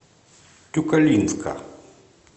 тюкалинска